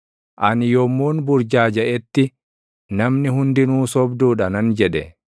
Ani yommuun burjaajaʼetti, “Namni hundinuu sobduu dha” nan jedhe.